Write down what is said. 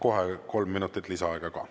Kohe kolm minutit lisaaega ka.